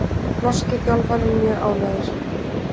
Norski þjálfarinn mjög ánægður